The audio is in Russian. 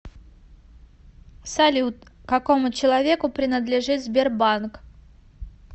салют какому человеку принадлежит сбербанк